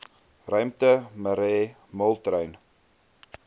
ruimte marais moltrein